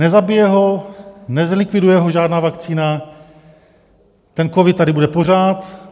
Nezabije ho, nezlikviduje ho žádná vakcína, ten covid tady bude pořád.